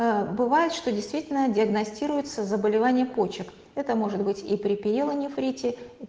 бывает что действительно диагностируется заболевание почек это может быть и при пиелонефрите